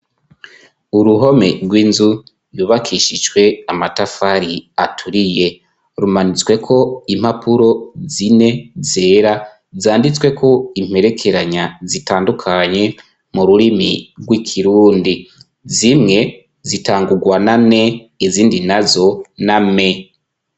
Uruhome rw'inzu yubakishijwe amatafari aturiye rumanitsweko impapuro zine zera, zanditsweko imperekeranya zitandukanye, mu rurimi rw'ikirundi. Zimwe zitangurwa na ne, izindi nazo na me.